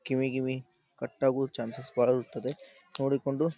ಕಿವಿ ಗಿವಿ ಕಟ್ ಆಗೋದ್ ಚಾನ್ಸಸ್ ಬರುತ್ತದೆ ನೋಡಿಕೊಂಡು --